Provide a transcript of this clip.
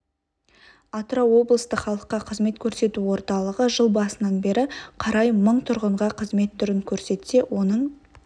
атырау облыстық халыққа қызмет көрсету орталығы жыл басынан бері қарай мың тұрғынға қызмет түрін көрсетсе оның